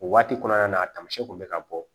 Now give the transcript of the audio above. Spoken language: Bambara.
O waati kɔnɔna na tamasiyɛnw kun bɛ ka bɔ